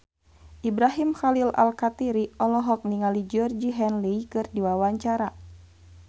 Ibrahim Khalil Alkatiri olohok ningali Georgie Henley keur diwawancara